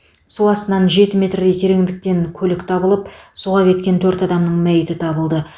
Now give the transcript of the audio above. су астынан жеті метрдей тереңдіктен көлік табылып суға кеткен төрт адамның мәйіті табылды